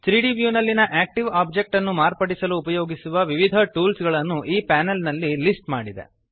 3ದ್ ವ್ಯೂ ನಲ್ಲಿಯ active object ನ್ನು ಮಾರ್ಪಡಿಸಲು ಉಪಯೋಗಿಸುವ ವಿವಿಧ ಟೂಲ್ಸ್ ಗಳನ್ನು ಈ ಪ್ಯಾನೆಲ್ ನಲ್ಲಿ ಲಿಸ್ಟ್ ಮಾಡಿದೆ